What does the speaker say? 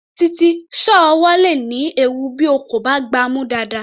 Títí, sọ́ọ̀ ọwọ́ le ní ewu bí o kò bá gbá a mú dáadáa.